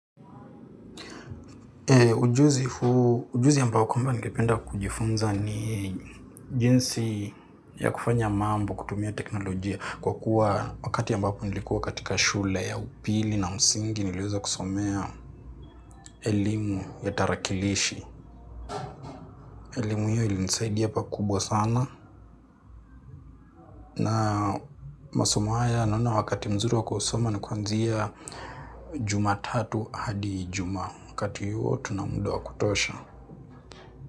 Ujuzi ambako ningependa kujifunza ni jinsi ya kufanya mambo kutumia teknolojia kwa kuwa wakati ambako nilikuwa katika shule ya upili na msingi niliweza kusomea elimu ya tarakilishi. Elimu hio ilinisaidia pakubwa sana na masomo haya naona wakati mzuri wa kusoma ni kuanzia jumatatu hadi ijumaa wakati huo tuna muda wa kutosha.